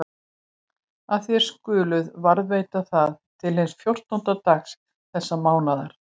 Og þér skuluð varðveita það til hins fjórtánda dags þessa mánaðar.